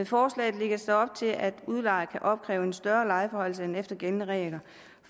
forslaget lægges der op til at udlejer kan opkræve en større lejeforhøjelse end efter gældende regler